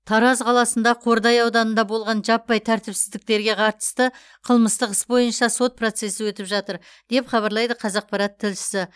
тараз қаласында қордай ауданында болған жаппай тәртіпсіздіктерге қатысты қылмыстық іс бойынша сот процесі өтіп жатыр деп хабарлайды қазақпарат тілшісі